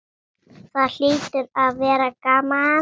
Það hlýtur að vera gaman?